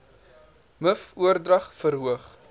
miv oordrag verhoog